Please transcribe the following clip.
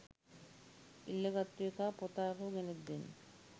ඉල්ලගත්තු එකා පොත ආපහු ගෙනත් දෙන්න